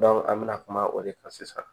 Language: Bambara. an bɛ na kuma o de kan sisan